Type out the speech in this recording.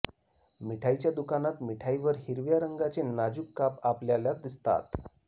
मिठाईच्या दुकानात मिठाई वर हिरव्या रंगाचे नाजूक काप आपल्याला दिसतात